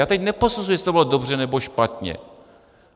Já teď neposuzuji, jestli to bylo dobře, nebo špatně.